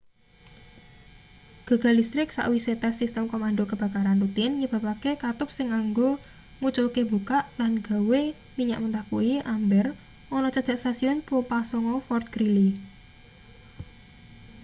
gagal listrik sawise tes sistem komando kebakaran rutin nyebabake katup sing kanggo nguculke mbukak lan gawe minyak mentah kuwi amber ana cedhak stasiun pompa 9 fort greely